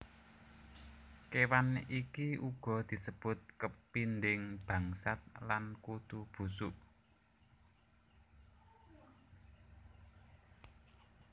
Kéwan iki uga disebut kepinding bangsat lan Kutu busuk